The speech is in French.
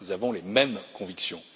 Nous avons les mêmes convictions.